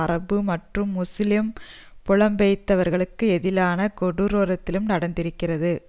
அரபு மற்றும் முஸ்லீம் புலம்பெயர்ந்தவர்களுக்கு எதிரான கொடூரத்திலும் நடந்திருக்கிறது